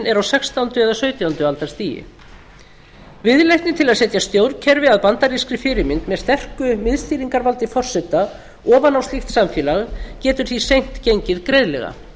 er á sextánda eða sautjándu aldar stigi viðleitni til að setja stjórnkerfi að bandarískri fyrirmynd með sterku miðstýringarvaldi forseta ofan á slíkt samfélag getur því seint gengið greiðlega